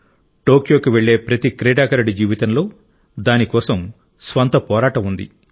టోక్యోకు వెళ్లే ప్రతి క్రీడాకారుడి జీవితంలో దాని కోసం స్వంత పోరాటం ఉంది